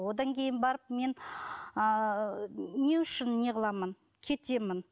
одан кейін барып мен ыыы не үшін неғыламын кетемін